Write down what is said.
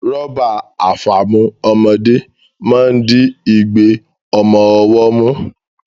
Rọ́bà àfàmu ọmọdé máa ń di igbe ọmọ ọwọ́ mú